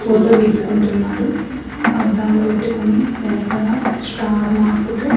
Photo తీసుకుంటున్నాడు అద్దాలు పెట్టుకొని వెనుకన స్టార్ మార్కు తో.